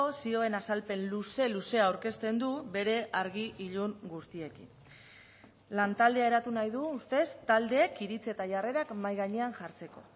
zioen azalpen luze luzea aurkezten du bere argi ilun guztiekin lantaldea eratu nahi du ustez taldeek iritzi eta jarrerak mahai gainean jartzeko